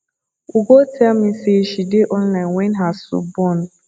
ugo tell me say she dey online wen her soup burn